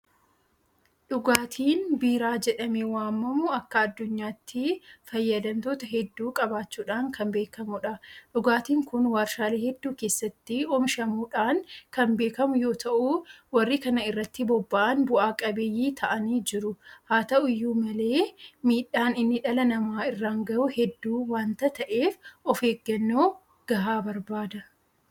Dhugaatiin biiraa jedhamee waamamu akka addunyaatti fayyadamtoota hedduu qabaachuudhaan kan beekamudha. Dhugaatiin kun warshaalee hedduu keessatti oomishamuudhaan kan beekamu yoota'u; Warri kana irratti bobba'an bu'a qabeeyyii ta'anii jiru. Haata'u iyyuu malee miidhaan inni dhala namaa irraan gahu hedduu waanta ta'eef ofeeggannoo gahaa barbaada.